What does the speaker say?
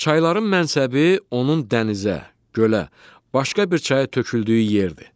Çayların mənsəbi onun dənizə, gölə, başqa bir çaya töküldüyü yerdir.